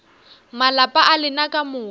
malapa a lena ka moka